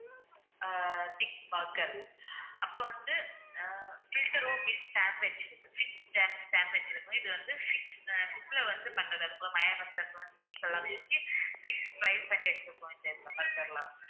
ஆஹ் thick burger அப்புறம் வந்து ah filter sandwich fish sandwich இருக்கு இது வந்து fishSIM ல வந்து பண்ணது. அதுக்குள்ள mayonnaise அது மாதிரி cheese எல்லாமே இருக்கு fish fry பண்ணி வச்சிருக்கோம்